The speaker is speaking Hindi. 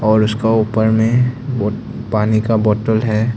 और उसका ऊपर में पानी का बाटल है।